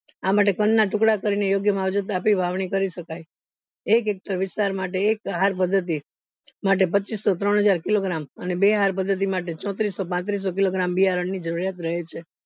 આ માટે કંદ ના ટુકડા કરીને યોગ્ય માંવજોત કરી શકાય એક hector વિસ્તાર માટે એક હર પદ્ધતિ માટે પચ્ચીસો ત્રણ હજાર kilogram અને બે હાર પદ્ધતિ માટે ચોત્રીસો પત્રીસો kilogram બિયારણ ની જરૂરિયાત રહે છે